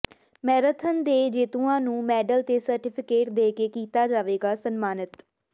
marathon ਦੇ ਜੇਤੂਆਂ ਨੂੰ ਮੈਡਲ ਤੇ ਸਰਟੀਫਿਕੇਟ ਦੇ ਕੇ ਕੀਤਾ ਜਾਵੇਗਾ ਸਨਮਾਨਿਤ